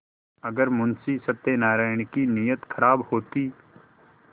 अगर मुंशी सत्यनाराण की नीयत खराब होती